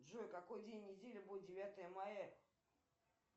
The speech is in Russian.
джой какой день недели будет девятое мая